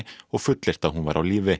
og fullyrt að hún væri á lífi